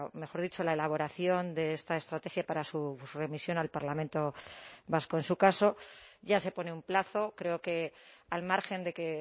mejor dicho la elaboración de esta estrategia para su remisión al parlamento vasco en su caso ya se pone un plazo creo que al margen de que